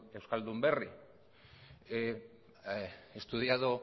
euskaldunberri he estudiada